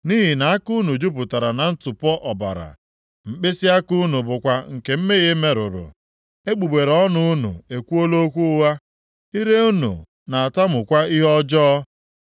Nʼihi na aka unu jupụtara na ntụpọ ọbara, mkpịsịaka unu bụkwa nke mmehie merụrụ. Egbugbere ọnụ unu ekwuola okwu ụgha, ire unu na-atamukwa ihe ọjọọ.